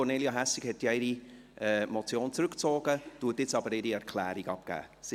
Kornelia Hässig hat ja ihre Motion zurückgezogen, gibt aber jetzt ihre Erklärung ab.